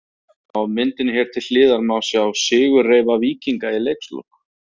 Á myndinni hér til hliðar má sjá sigurreifa Víkinga í leikslok.